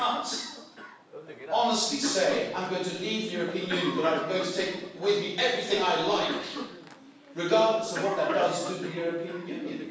You can't honestly say I'm going to leave the European Union, but I'm going to take with me everything I like' regardless of what that does to the European Union.